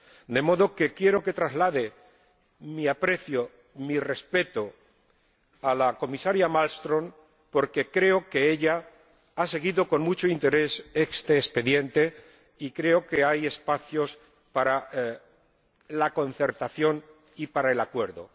De modo que quiero que traslade mi aprecio, mi respeto, a la Comisaria Malmström, porque creo que ella ha seguido con mucho interés este expediente y creo que hay espacios para la concertación y para el acuerdo.